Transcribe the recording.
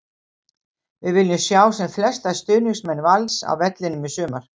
Við viljum sjá sem flesta stuðningsmenn Vals á vellinum í sumar!